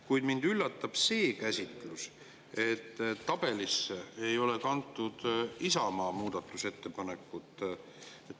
Kuid mind üllatab see, et tabelisse ei ole kantud Isamaa muudatusettepanekut.